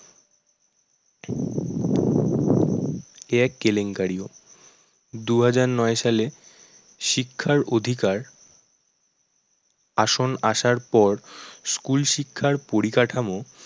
এ এক কেলেঙ্কারি। দু হাজার নয় সালে শিক্ষার অধিকার আসন আসার পর school শিক্ষার পরিকাঠামো